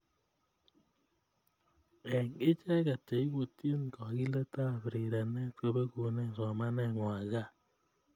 Eng icheget cheibutyin kogelietab rirenet kobekune somanengwai gaa